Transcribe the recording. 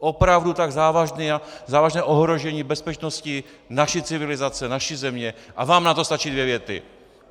Opravdu tak závažné ohrožení bezpečnosti, naší civilizace, naší země, a vám na to stačí dvě věty.